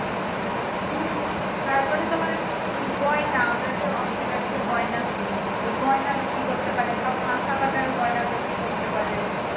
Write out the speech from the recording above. হুম তারপরে তোমার গয়না আমরা যে oxidised এর গয়না কিনি ওই গয়না বিক্রি করতে পারে আবার কাঁসা পাতারও গয়না বিক্রি করতে পারে